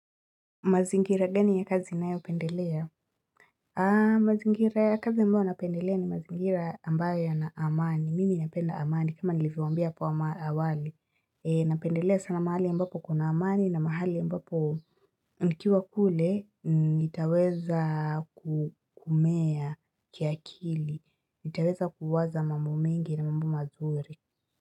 Mazingira gani ya kazi unayopendelea? Mazingira ya kazi ambayo napendelea ni mazingira ambayo yana amani. Mimi napenda amani kama nilivyowaambia hapo awali. Napendelea sana mahali ambapo kuna amani na mahali ambapo nikiwa kule nitaweza kumea kiakili. Nitaweza kuwaza mambo mengi na mamba mazuri.